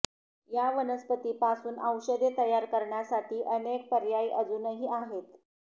या वनस्पती पासून औषधे तयार करण्यासाठी अनेक पर्याय अजूनही आहेत